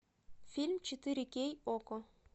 фильм четыре кей окко